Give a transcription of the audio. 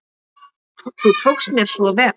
Þú tókst mér svo vel.